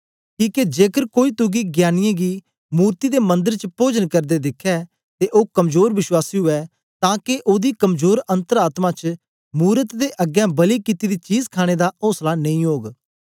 किके जेकर कोई तुगी ज्ञानीयें गी मूर्ति दे मंदर च पोजन करदे दिखै ते ओ कमजोर विश्वासी उवै तां के ओदी कमजोर अन्तर आत्मा च मूरत दे अगें बलि कित्ती दी चीज खाणे दा औसला नेई ओग